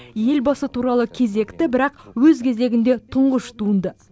елбасы туралы кезекті бірақ өз кезегінде тұңғыш туынды